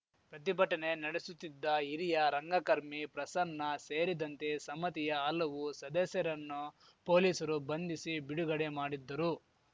ಪ್ರತಿಭಟನೆ ನಡೆಸುತ್ತಿದ್ದ ಹಿರಿಯ ರಂಗಕರ್ಮಿ ಪ್ರಸನ್ನ ಸೇರಿದಂತೆ ಸಮತಿಯ ಹಲವು ಸದಸ್ಯರನ್ನು ಪೊಲೀಸರು ಬಂಧಿಸಿ ಬಿಡುಗಡೆ ಮಾಡಿದ್ದರು